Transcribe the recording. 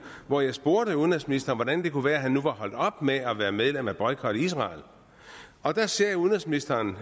og jeg spurgte udenrigsministeren hvordan det kunne være at han nu var holdt op med at være medlem af boykot israel og der sagde udenrigsministeren